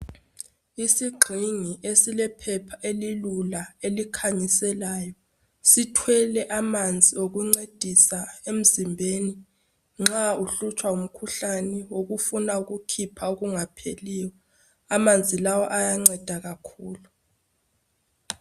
Isigxingi esilephepha elilula elikhanyiselayo sithwele amanzi okuncedisa emzimbeni nxa uhlutshwa ngumkhuhlane wokufuna ukukhipha okungapheliyo, amanzi lawa ayanceda kakhulu.